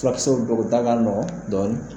Furakisɛw dɔw u da ka nɔgɔ dɔɔni.